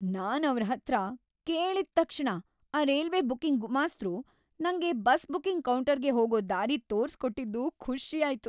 ನಾನ್ ಅವ್ರ್‌ ಹತ್ರ ಕೇಳಿದ್ ತಕ್ಷಣ ಆ ರೈಲ್ವೆ ಬುಕಿಂಗ್ ಗುಮಾಸ್ತ್ರು ನಂಗೆ ಬಸ್ ಬುಕಿಂಗ್ ಕೌಂಟರ್ಗ್ ಹೋಗೋ ದಾರಿ ತೋರ್ಸ್ಕೊಟ್ಟಿದ್ದು ಖುಷಿ ಆಯ್ತು.